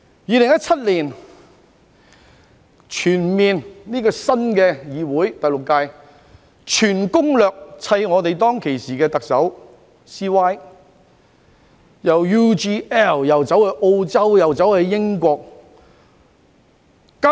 2017年，第六屆的議會以全攻略對付當時的特首 "CY"， 為了 UGL 事件既到澳洲又到英國。